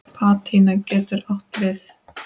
Patína getur átt við